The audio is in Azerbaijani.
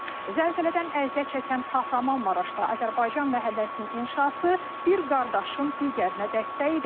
Zəlzələdən əziyyət çəkən Kahramanmaraşda Azərbaycan məhəlləsinin inşası bir qardaşın digərinə dəstəyi idi.